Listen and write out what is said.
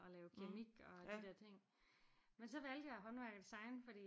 Og lave keramik og de der ting men så valgte jeg håndværk og design fordi